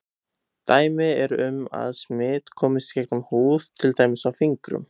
Dæmi eru um að smit komist í gegnum húð til dæmis á fingrum.